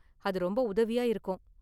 அது ரொம்ப உதவியா இருக்கும்.